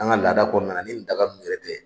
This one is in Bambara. An ka lada kɔnɔnana ni nin daga nunnu tɛ.